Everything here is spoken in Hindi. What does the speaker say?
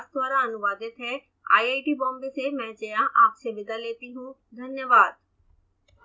यह स्क्रिप्ट विकास द्वारा अनुवादित है आईआईटी बॉम्बे से मैं जया आपसे विदा लेती हूँ धन्यवाद